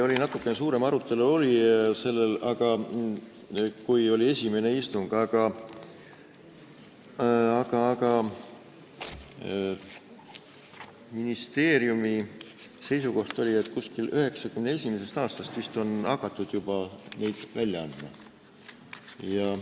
Natukene suurem arutelu oli siis, kui oli esimene istung, aga ministeeriumi seisukoht oli, et vist 1991. aastast on hakatud juba neid välja andma.